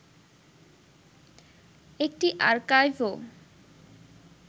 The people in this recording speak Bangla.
একটি আর্কাইভ ও